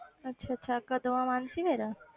ਅੱਛਾ ਅੱਛਾ ਕਦੋਂ ਆਂ ਮਾਨਸੀ ਫਿਰ?